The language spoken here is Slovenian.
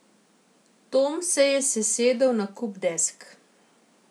Tom se je sesedel na kup desk.